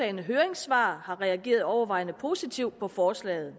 i høringssvarene har reageret overvejende positivt på forslaget